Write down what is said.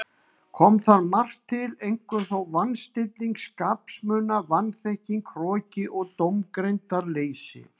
Kom þar margt til, einkum þó van- stilling skapsmuna, vanþekking, hroki og dómgreindarleysi.